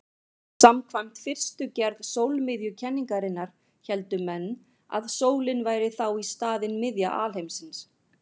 Samkvæmt fyrstu gerð sólmiðjukenningarinnar héldu menn að sólin væri þá í staðinn miðja alheimsins.